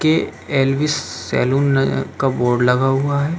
के Elvis saloon का board लगा हुआ है। सैलून के सामने की ओर एक बाइक रखी हुई है।